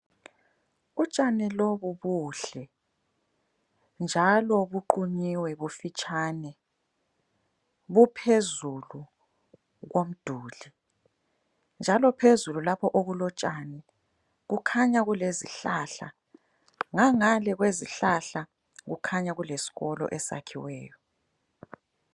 Utshani lobu buhle njalo buqunyiwe bufitshane buphezulu komduli njalo phezulu lapho okulotshani kukhanya kulezihlahla ngangale kwezihlahla kukhanya kulesikolo esiyakhiweyo.